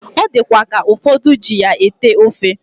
Odikwa ka ufodu ejiya ete ofe